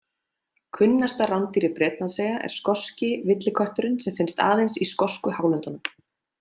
Kunnasta rándýr Bretlandseyja er skoski villikötturinn sem finnst aðeins í skosku hálöndunum.